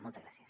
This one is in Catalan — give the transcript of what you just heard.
moltes gràcies